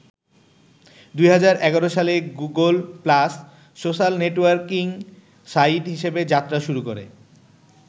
২০১১ সালে Google Plus social networking site হিসেবে যাত্রা শুরু করে।